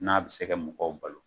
N'a bɛ se ka mɔgɔw balo